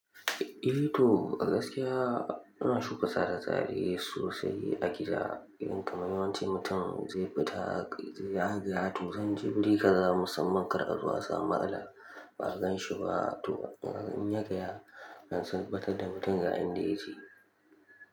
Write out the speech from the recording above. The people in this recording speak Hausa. Eh to gaskiya ina shuka sabon tsari sosai a gida, inda mafi yawancin mutane zai fita zai agaya. To zan je guri kaza musamman kar a zo asamu matsala, ba a ganshi ba. To in yaya zan tabbatar da mutum yaka inda yake?